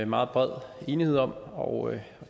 meget bred enighed om og